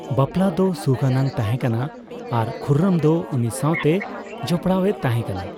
ᱵᱟᱯᱞᱟ ᱫᱚ ᱥᱩᱠᱷ ᱟᱱᱟᱜ ᱛᱟᱦᱮᱸᱠᱟᱱᱟ ᱟᱨ ᱠᱷᱩᱨᱨᱚᱢ ᱫᱚ ᱩᱱᱤ ᱥᱟᱣᱛᱮ ᱡᱚᱯᱲᱟᱣ ᱮ ᱛᱟᱦᱮᱸ ᱠᱟᱱᱟ ᱾